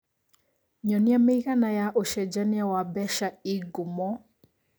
nyonĩa mĩĩgana ya ũcenjanĩa wa mbeca ĩ ngumo